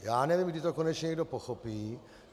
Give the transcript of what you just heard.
Já nevím, kdy to konečně někdo pochopí.